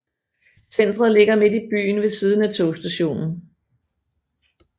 Centret ligger midt i byen ved siden af togstationen